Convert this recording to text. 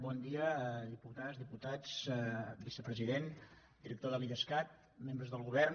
bon dia diputades i diputats vicepresident director de l’idescat membres del govern